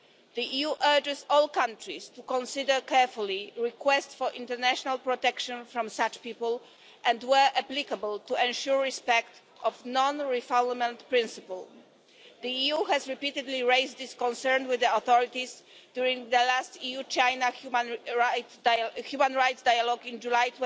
The EU urges all countries to consider carefully requests for international protection from such people and, where applicable, to ensure respect of the non-refoulement principle. The EU repeatedly raised this concern with the authorities during the last EU-China Human Rights Dialogue in July